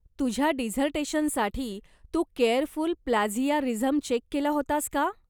तुझ्या डिझर्टेशनसाठी तू केअरफूल प्लॅजियारिझम चेक केला होतास का?